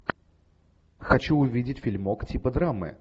хочу увидеть фильмок типа драмы